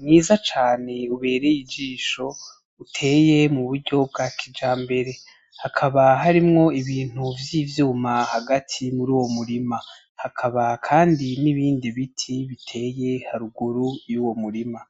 mwiza cane ubereye ijisho, uteye mu buryo bwa kijambere. Hakaba harimwo ibintu vy'ivyuma hagati muri uwo murima. Hakaba kandi n'ibindi biti biteye haruguru y'uwo murima.